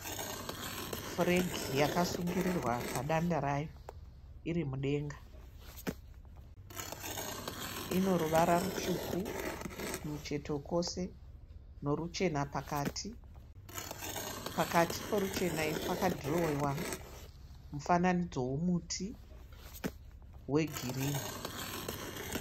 Furegi yakasungirirwa padanda rayo iri mudenga. Ino ruvara rutsuku kumucheto kwose noruchena pakati. Pakati poruchena pakadhirowiwa mufananidzo womuti wegirini.